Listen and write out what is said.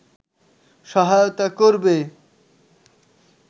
সহায়তা করবে